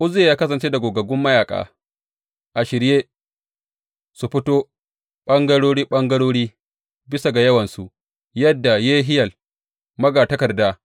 Uzziya ya kasance da gogaggun mayaƙa, a shirye su fito ɓangarori ɓangarori bisa ga yawansu yadda Yehiyel magatakarda,